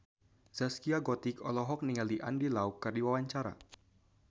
Zaskia Gotik olohok ningali Andy Lau keur diwawancara